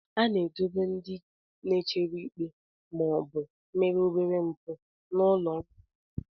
A na-edobe ndị na-echere ikpe ma ọ bụ mere obere mpụ n'ụlọ nga obere.